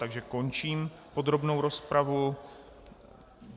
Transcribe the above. Takže končím podrobnou rozpravu.